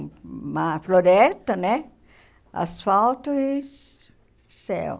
uma floresta né, asfalto e céu.